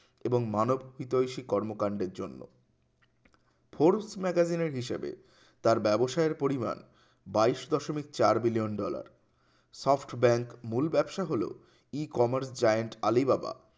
এবং মানব হৃদয়সী কর্মকান্ডের জন্য ফ্রুস্ট magazine এর বিষয়টি তার ব্যবসায়ের পরিমাণ বাইশ দশমিক চার billion dollar সফ্ট bank মূল ব্যাবসা হলো ই কমার্স জায়েন্ট আলিবাবা